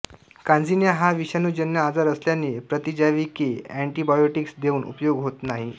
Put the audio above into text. कांजिण्या हा विषाणूजन्य आजार असल्याने प्रतिजैविके एंेटिबायोटिक्स देऊन उपयोग होत नाही